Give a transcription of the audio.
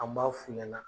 An b'a f'u ɲɛna